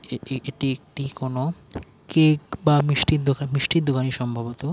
এটি এটি একটি কোন কেক বা মিষ্টির দোকান মিষ্টির দোকানি সম্ভবত।